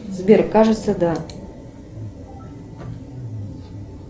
сбер кажется да